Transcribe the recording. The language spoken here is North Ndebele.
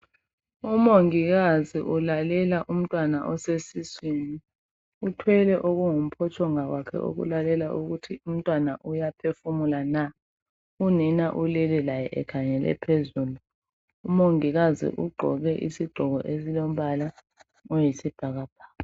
umongikazi ulalela umntwana osesiswini uthwele okungumphotshonga kwakhe okokulalela ukuthi umntwana uyaphefumula na unina ulele laye ekhangele phezulu umongikazi ugqoke isigqoko esilombala oyisibhakabhaka